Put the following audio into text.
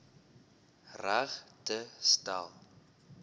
reg te stel